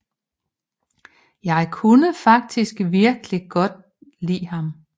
Jeg kunne faktisk virkelig godt lide ham